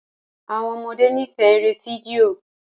Àwọn ọmọdé n'ifẹ èrè fídíò